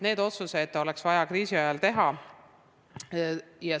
Need otsused oleks vaja kriisiajal teha.